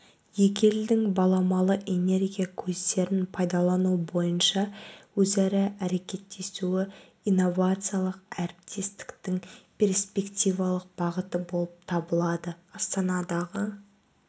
екі елдің баламалы энергия көздерін пайдалану бойынша өзара әрекеттесуі инновациялық әріптестіктің перспективалық бағыты болып табылады астанадағы